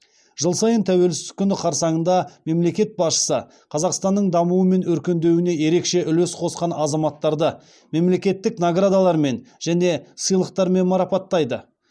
жыл сайын тәуелсіздік күні қарсаңында мемлекет басшысы қазақстанның дамуы мен өркендеуіне ерекше үлес қосқан азаматтарды мемлекеттік наградалармен және сыйлықтармен марапаттайды